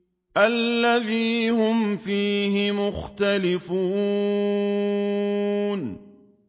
الَّذِي هُمْ فِيهِ مُخْتَلِفُونَ